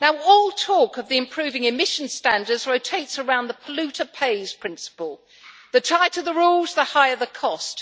All talk of the improving emission standards rotates around the polluter pays' principle. The tighter the rules, the higher the cost.